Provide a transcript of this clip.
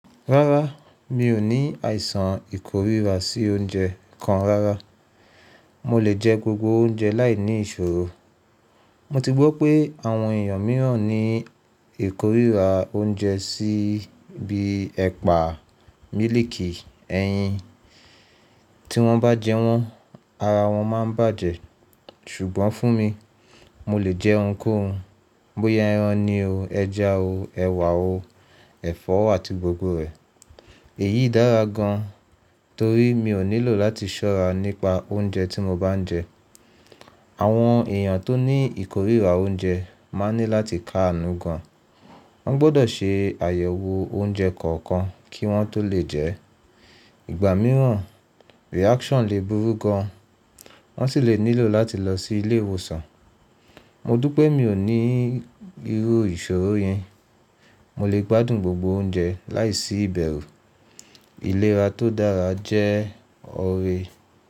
Rárá, mi ò ní àìsàn ìkórira sí oúnjẹ kan rárá. Mo lè jẹ gbogbo oúnjẹ láì ní ìṣòro. Mo ti gbọ́ pé àwọn èèyàn mìíràn ní ìkórira oúnjẹ sí bíi ẹ̀pà, mílìkì, ẹyin. Tí wọ́n bá jẹ wọ́n, ara wọn máa ń bàjẹ́. Ṣùgbọ́n fún mi, mo lè jẹ ohun kóhun. Bóyá ẹran ni o, ẹja o, ẹ̀wà o, ẹ̀fọ́ àti gbogbo rẹ̀. Èyí dára gan torí mi ò nílò láti ṣọ́ra nípa oúnjẹ tí mo bá ń jẹ. Àwọn èèyàn tó ní ìkórira oúnjẹ máa ní láti kàánú gan. Wọ́n gbọdọ̀ ṣe àyẹ̀wò oúnjẹ kọ̀ọ̀kan kí wọ́n tó lè jẹ ẹ́. Ìgbà mìíràn, reaction lè burú gán, wọ́n sì lè nílò láti lọ sí ilé ìwòsàn. Mọ dúpẹ́ mí ò ní irú ìṣòro yẹn. Mo lè gbádùn gbogbo oúnjẹ láìsí ìbẹ̀rù. Ìlera tó dára jẹ́ ọrẹ.